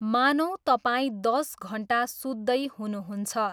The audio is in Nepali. मानौँ तपाईँ दस घन्टा सुत्दै हुनुहुन्छ।